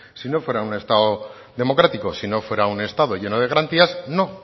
si no fuera un estado democrático si no fuera un estado lleno de garantías no